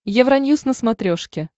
евроньюс на смотрешке